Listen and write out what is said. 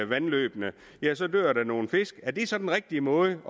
vandløbene ja så dør der nogle fisk er det så den rigtige måde